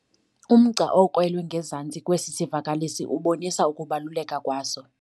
Umgca okrwelwe ngezantsi kwesi sivakalisi ubonisa ukubaluleka kwaso.